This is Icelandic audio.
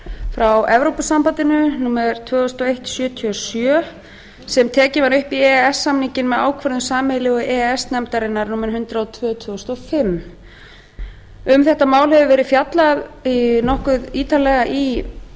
frá evrópusambandinu númer tvö þúsund og einn sjötíu og sjö sem tekið var upp í e e s samninginn með ákvörðun sameiginlegu e e s nefndarinnar númer hundrað og tvö tvö þúsund og fimm um þetta mál hefur verið fjallað nokkuð ítarlega í